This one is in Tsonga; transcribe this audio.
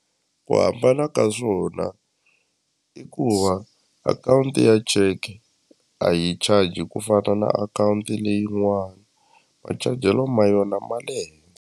Ku hambana ka swona i ku va akhawunti ya cheke a yi charge ku fana na akhawunti leyin'wani machajelo ma yona ma le .